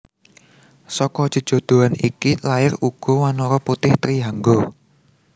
Seka jejodhoan iki lair uga wanara putih Trihangga